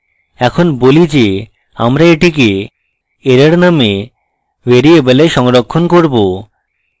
এখন বলি যে আমরা এটিকে error নামক ভ্যারিয়েবললে সংরক্ষণ করব